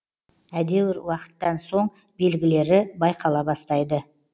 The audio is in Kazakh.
едәуір уақыттан соң белгілері байқала бастайды